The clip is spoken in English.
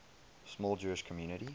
small jewish community